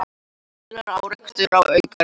Tveggja bíla árekstur á Akureyri